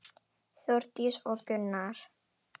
Þórdís og Gunnar.